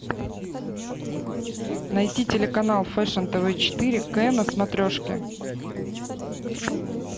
найти телеканал фэшн тв четыре к на смотрешке